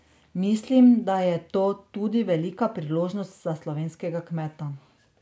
Mislim, da je to tudi velika priložnost za slovenskega kmeta.